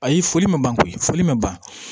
Ayi foli ma ban koyi foli ma ban